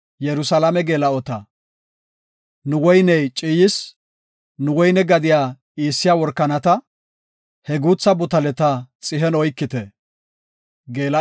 Nu woyney ciiyis; nu woyne gadiya iissiya workanata, he guutha butaleta xihen oykite.